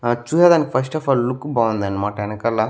ఆ చూసే దానికి ఫస్ట్ అఫ్ ఆల్ లుక్ బాగుంది అన్నమాట వెనకాల.